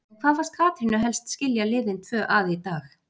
En hvað fannst Katrínu helst skilja liðin tvö að í dag?